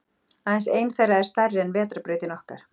Aðeins ein þeirra er stærri en Vetrarbrautin okkar.